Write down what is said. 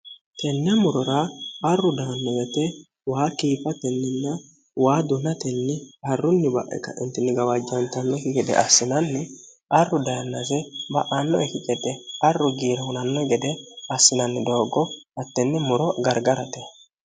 tenne murora arru dayanno wete waa kiifa tenninna waa dunatenni harrunni ba'ika intinnigawaajjaantannoki gede assinanni arru dayannase ma'aannoe ki gede arru giirehunanno gede assinanni dooggo hattenne muro gargarate